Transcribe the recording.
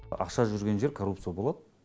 ақша жүрген жер коррупция болады